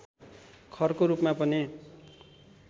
खरको रूपमा पनि